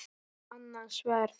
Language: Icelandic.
Annað sverð.